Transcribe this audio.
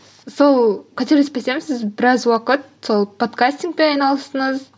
сол қателеспесем сіз біраз уақыт сол подкастингпен айналыстыңыз